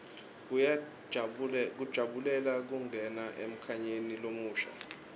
kujabulela kungena emnyakeni lomusha